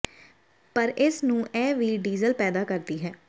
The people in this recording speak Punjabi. ਪਰ ਇਸ ਨੂੰ ਇਹ ਵੀ ਡੀਜ਼ਲ ਪੈਦਾ ਕਰਦੀ ਹੈ